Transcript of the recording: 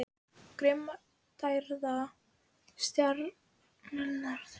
Grimmdaræði styrjaldarinnar þegar í byrjun í algleymingi.